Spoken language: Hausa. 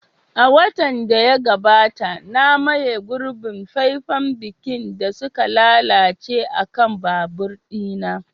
A watan da ya gabata, na maye gurbin faifen birkin da suka lalace akan babur ɗina.